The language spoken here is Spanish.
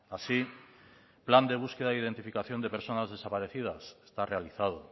así plan de búsqueda y de identificación de personas desaparecidas está realizado